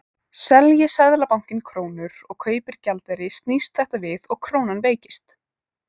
Selji Seðlabankinn krónur og kaupir gjaldeyri snýst þetta við og krónan veikist.